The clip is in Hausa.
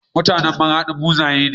mutAnan maradi buzaye ne